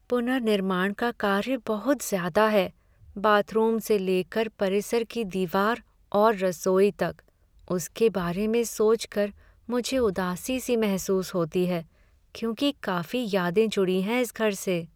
पुनर्निर्माण का कार्य बहुत ज़्यादा है, बाथरूम से लेकर परिसर की दीवार और रसोई तक, उसके बारे में सोच कर मुझे उदासी सी महसूस होती है क्योंकि काफी यादें जुड़ी हैं इस घर से।